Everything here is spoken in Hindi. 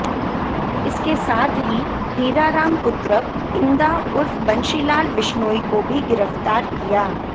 इसके साथ ही हीराराम पुत्र इंदा उर्फ बंशीलाल विश्नोई को भी गिरफ्तार किया